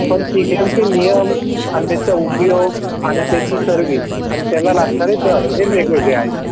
P M चे नियम आणि त्यांचा उपयोग आणि त्याची सर्विस आणि त्यांना लागला लागणारे दर वेगवेगळे आहेत.